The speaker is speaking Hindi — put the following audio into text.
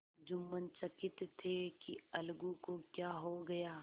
जुम्मन चकित थे कि अलगू को क्या हो गया